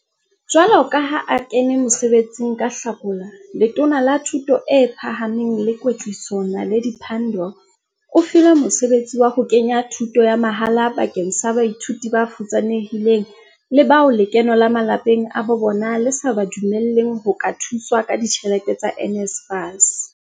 Jwalo ka ha a kene mosebe tsing ka Hlakola, Letona la Thuto e Phahameng le Kwetliso, Naledi Pandor o filwe mosebetsi wa ho ke nya thuto ya mahala bakeng sa baithuti bafutsanehileng le bao lekeno la malapeng a bobona le sa ba dumelleng ho ka thuswa ka ditjhelete tsa NSFAS.